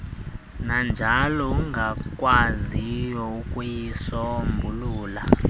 nanjalo ungakwaziyo ukuyisombulula